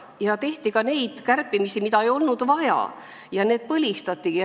Tehti ka neid kärpimisi, mida ei olnud vaja, ja need põlistati.